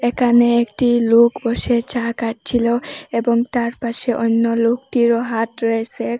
একানে একটি লোক বসে চা খাচ্ছিল এবং তার পাশে অন্য লোকটিরও হাত রয়েসে এ--